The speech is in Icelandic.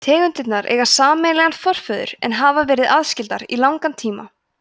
tegundirnar eiga sameiginlegan forföður en hafa verið aðskildar í langan tíma